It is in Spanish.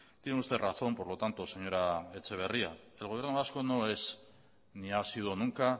tiene usted razón por lo tanto señora etxeberria el gobierno vasco no es ni ha sido nunca